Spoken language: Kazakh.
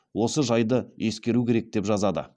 осы жайды ескеру керек деп жазады